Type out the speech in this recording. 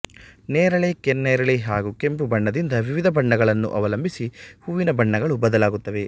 ನೇರಳೆ ಕೆನ್ನೇರಳೆ ಹಾಗೂ ಕೆಂಪು ಬಣ್ಣದಿಂದ ವಿವಿಧ ಬಣ್ಣಗಳನ್ನು ಅವಲಂಬಿಸಿ ಹೂವಿನ ಬಣ್ಣಗಳು ಬದಲಾಗುತ್ತವೆ